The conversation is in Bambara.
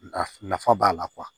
Nafa b'a la